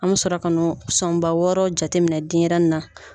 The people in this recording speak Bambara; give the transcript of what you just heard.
An be sɔrɔ k'a n'o sɔnba wɔɔrɔ jateminɛ denyɛrɛni na